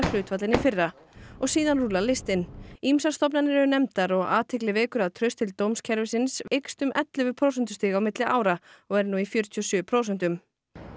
hlutfall en í fyrra og síðan rúllar listinn ýmsar stofnanir eru nefndar og athygli vekur að traust til dómskerfisins eykst um ellefu prósentustig á milli ára og er nú í fjörutíu og sjö prósentum